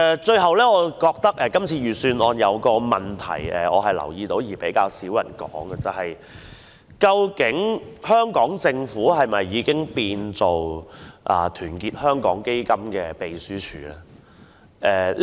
最後，我發現預算案有一個問題，但卻較少人提出：究竟香港政府是否已淪為團結香港基金的秘書處？